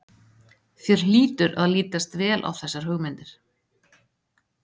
Þér hlýtur að lítast vel á þessar hugmyndir?